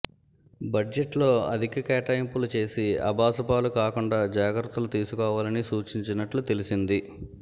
budget లో అధిక కేటాయింపులు చేసి అబాసుపాలు కాకుండా జాగ్రత్తలు తీసుకోవాలని సూచించినట్టు తెలిసింది